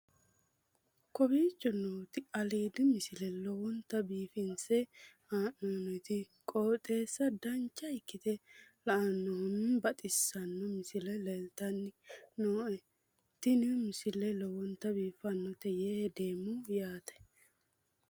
kowicho nooti aliidi misile lowonta biifinse haa'noonniti qooxeessano dancha ikkite la'annohano baxissanno misile leeltanni nooe ini misile lowonta biifffinnote yee hedeemmo yaate